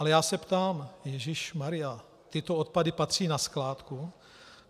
Ale já se ptám - ježíšmarjá, tyto odpady patří na skládku?